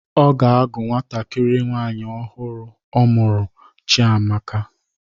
Ọ ga-àgú nwantakịrị nwaanyi ahụ ọ mụrụ ọhụrụ Chiamaka.